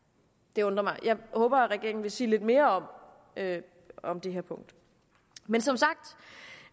det undrer mig jeg håber at regeringen vil sige lidt mere om det her punkt men